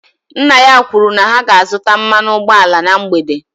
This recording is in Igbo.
Nna ya kwuru na ha ga-azụta mmanụ ụgbọala na mgbede